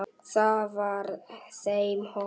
Það var þeim hollt.